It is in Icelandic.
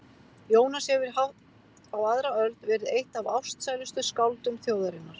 Jónas hefur í hátt á aðra öld verið eitt af ástsælustu skáldum þjóðarinnar.